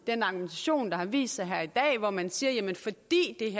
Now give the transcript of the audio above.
den argumentation der har vist sig her i dag hvor man siger